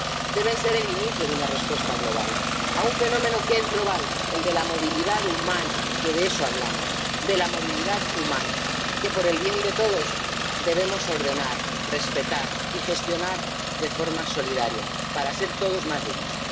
Deben ser el inicio de una respuesta global a un fenómeno que es global, el de la movilidad humana —de eso hablamos, de la movilidad humana—, que, por el bien de todos, debemos ordenar, respetar y gestionar de forma solidaria para ser todos más dignos.